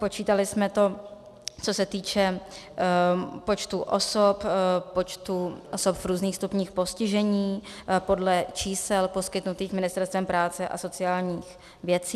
Počítali jsme to, co se týče počtu osob, počtu osob v různých stupních postižení, podle čísel poskytnutých Ministerstvem práce a sociálních věcí.